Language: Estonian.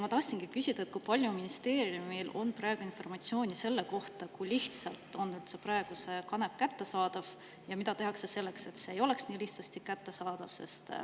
Ma tahtsingi küsida, kui palju ministeeriumil on informatsiooni selle kohta, kui lihtsalt on praegu kanep kättesaadav ja mida tehakse selleks, et see ei oleks nii lihtsasti kättesaadav.